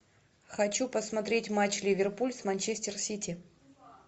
хочу посмотреть матч ливерпуль с манчестер сити